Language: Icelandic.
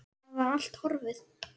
Það var allt horfið!